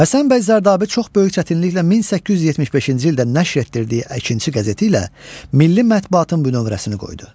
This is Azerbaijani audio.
Həsən bəy Zərdabi çox böyük çətinliklə 1875-ci ildə nəşr etdirdiyi Əkinçi qəzeti ilə milli mətbuatın bünövrəsini qoydu.